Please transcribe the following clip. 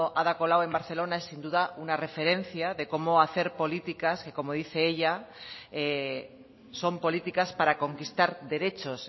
ada colau en barcelona es sin duda una referencia de cómo hacer políticas que como dice ella son políticas para conquistar derechos